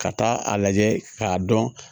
Ka taa a lajɛ k'a dɔn